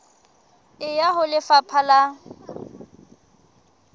e ya ho lefapha la